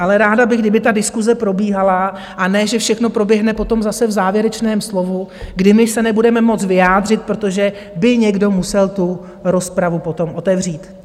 Ale ráda bych, kdyby ta diskuse probíhala, a ne, že všechno proběhne potom zase v závěrečném slovu, kdy my se nebudeme moct vyjádřit, protože by někdo musel tu rozpravu potom otevřít.